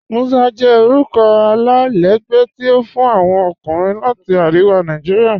Musa jẹ orúkọ alailẹgbẹ́ tí a fún awọn ọkùnrin láti Ariwa Naijiria.